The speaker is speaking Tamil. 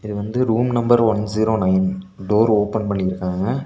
வந்து room number one zero nine door open பண்ணிருக்காங்க.